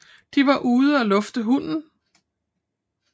De var ude og lufte hunden